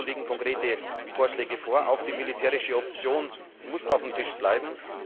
Dazu liegen konkrete Vorschläge vor. Auch die militärische Option muss auf dem Tisch bleiben.